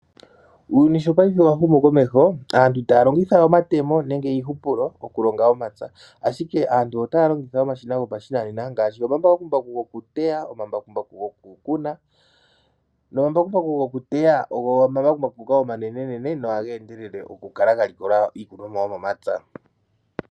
Uuyuni sho paife wa humu komeho, aantu itaya longitha we omatemo nenge iipulo okulonga omapya, ashike aantu otaya longitha omashina gopashinanena ngaashi omambakumbaku gokuteya nomambakumbaku gokukuna. Omambakumbaku gokuteya ogo omambakumbaku omanenene nohaga endelele okukala ga likola iikunomwa yomomapya.